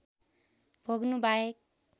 भोग्नु बाहेक